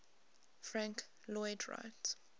frank lloyd wright